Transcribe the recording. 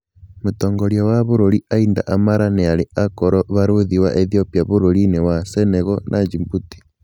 Mũtongoria wa bũrũri Aida Amara nĩarĩ akorwo barũthi wa Ethiopia bũrũri-inĩ wa Senegal na Djibouti.